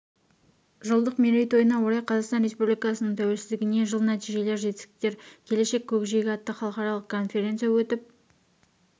жылдық мерейтойына орай қазақстан республикасының тәуелсіздігіне жыл нәтижелер жетістіктер келешек көкжиегі атты халықаралық конференция өтіп